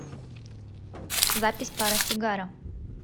запись паросигара